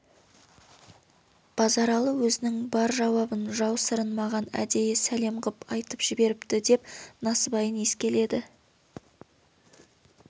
базаралы өзінің бар жауабын жау сырын маған әдейі сәлем ғып айтып жіберіпті деп насыбайын иіскеледі